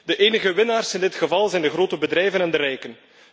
De enige winnaars in dit geval zijn de grote bedrijven en de rijken.